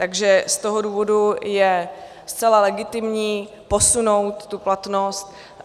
Takže z toho důvodu je zcela legitimní posunout tu platnost.